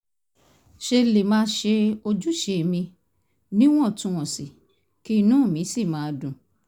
ṣe lè máa ṣe ojúṣe mi níwọ̀ntúnwọ̀nsì kí inú mi sì máa dùn